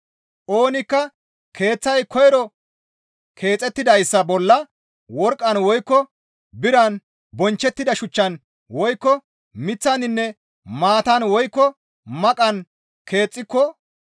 Oonikka keeththay koyro keexettidayssa bolla worqqan woykko biran bonchchettida shuchchan woykko miththaninne maatan woykko maqan keexxiko,